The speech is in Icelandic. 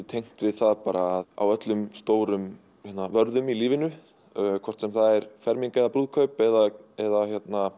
tengt við það að á öllum stórum vörðum í lífinu hvort sem það er ferming eða brúðkaup eða eða